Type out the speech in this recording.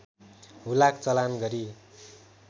हुलाक चलान गरी